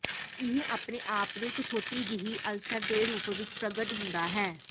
ਇਹ ਆਪਣੇ ਆਪ ਨੂੰ ਇੱਕ ਛੋਟੀ ਜਿਹੀ ਅਲਸਰ ਦੇ ਰੂਪ ਵਿੱਚ ਪ੍ਰਗਟ ਹੁੰਦਾ ਹੈ